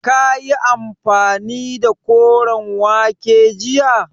Kayi amfani da koren wake jiya?